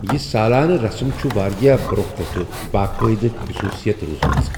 یہِ سالانہٕ رسم چھٖٗ وارِیاہ برونہہ پیٹھہٕ باقٲیدٕ خصوصِیت روٗزمژ۔